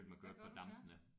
Hvad gør du så?